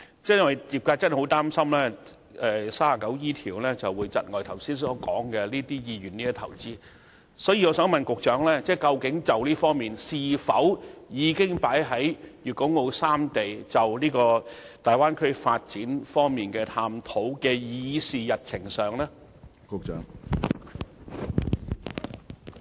鑒於業界很擔心《稅務條例》第 39E 條會窒礙港商的投資意願，局長可否告知我們，這方面的事宜究竟是否已納入粵港澳大灣區發展規劃的議事日程上？